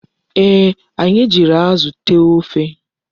Ee, anyi ji Azu tee ofe ahu